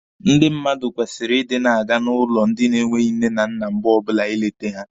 Ndị mmadụ kwesịrị ịdị na-aga n'ụlọ ndị na-enweghi nne na nna mgbe ọbụla ịlete ha.